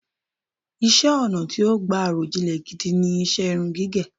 Iṣẹ́-ọnà̀ tí ó gbà àròjinlẹ̀ gidi ni iṣẹ́ irun gígẹ̀.